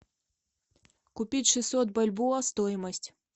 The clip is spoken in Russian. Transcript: купить шестьсот бальбоа стоимость